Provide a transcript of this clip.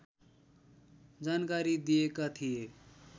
जानकारी दिएका थिए